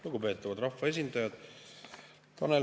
Lugupeetavad rahvaesindajad!